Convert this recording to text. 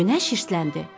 Günəş hirsləndi.